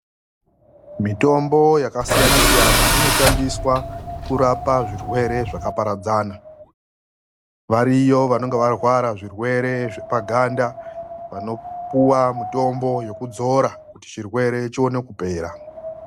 Mitombo yasiyana siyana inoshandiswa kurapa zvirwere zvakaparadzana. Variyo vanonga varwara zvirwere zvepaganda, vanopuwa mitombo yokudzora kuti chirwere chione kupera.